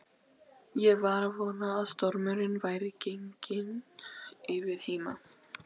Ég var að vona að stormurinn væri genginn yfir heima.